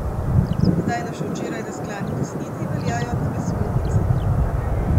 Zdaj na še včeraj razklani desnici veljajo nove smernice.